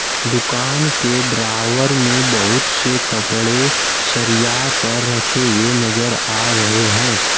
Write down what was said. दुकान के ड्रावर में बहुत से कपड़े सरिया कर रखे हुए नजर आ रहे हैं।